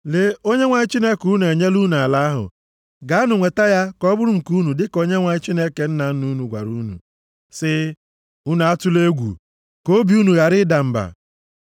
Lee, Onyenwe anyị Chineke unu enyela unu ala ahụ. Gaanụ nweta ya ka ọ bụrụ nke unu dịka Onyenwe anyị Chineke nna nna unu gwara unu sị, Unu atụla egwu, ka obi unu gharakwa ịda mba.” + 1:21 \+xt Jos 1:6,9\+xt*